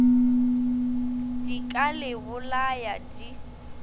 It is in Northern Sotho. di ka le bolaya di